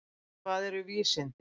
Hvað eru vísindi?